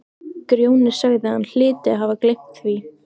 Grjóni sagði að hann hlyti að hafa gleymt því.